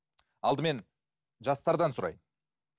алдымен жастардан сұрайын